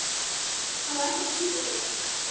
Hann var ekkert að flýta sér.